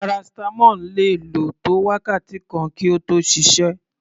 Paracetamol le lò tó wákàtí kan kí ó tó ṣiṣẹ́.